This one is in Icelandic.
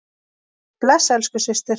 Bless elsku systir.